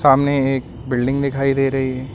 सामने एक बिल्डिंग दिखाई दे रही है।